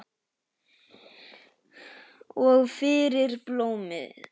Og fyrir blómin.